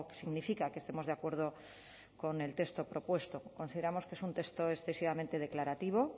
significa que estemos de acuerdo con el texto propuesto consideramos que es un texto excesivamente declarativo